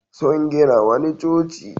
Sun gina wani coci.